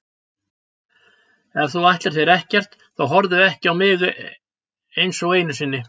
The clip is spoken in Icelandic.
Ef þú ætlar þér ekkert þá horfðu ekki á mig einsog einu sinni.